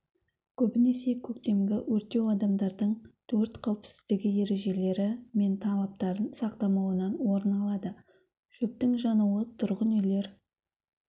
көбінесе көктемгі өртеу адамдардың өрт қауіпсіздігі ережелері мен талаптарын сақтамауынан орын алады шөптің жануы тұрғын үйлер